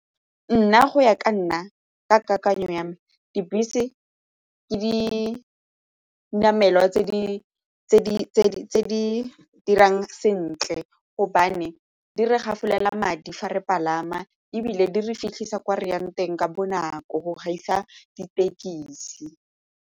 Nna go ya ka nna ka kakanyo ya me, dibese ke dinamelwa tse di dirang sentle gobane di re gafolela madi fa re palama ebile di re fitlhisa ko re yang teng ka bonako go gaisa ditekisi.